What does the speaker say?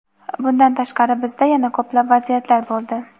Bundan tashqari bizda yana ko‘plab vaziyatlar bo‘ldi.